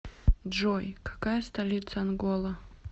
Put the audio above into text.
джой какая столица ангола